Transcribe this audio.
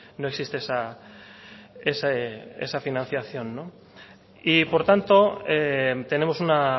no existe esa financiación y por tanto tenemos una